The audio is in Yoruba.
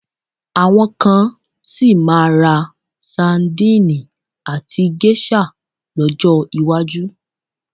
Àwọn kan sì máa ra sadíìnì àti géṣà lọ́jọ́ iwájú.